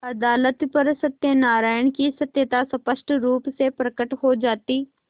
अदालत पर सत्यनारायण की सत्यता स्पष्ट रुप से प्रकट हो जाती